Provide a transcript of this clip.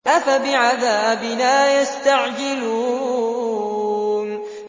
أَفَبِعَذَابِنَا يَسْتَعْجِلُونَ